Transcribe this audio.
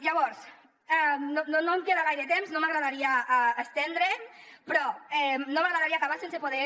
llavors no em queda gaire temps no m’agradaria estendre’m però no m’agradaria acabar sense poder